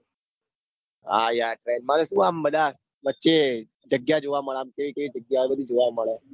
હા યાર train માં તો સુ આમ બધા વચ્ચે જગ્યા ચેવી ચેવી જગ્યાઓ બધું જોવા મળે.